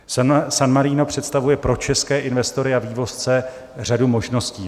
San Marino představuje pro české investory a vývozce řadu možností.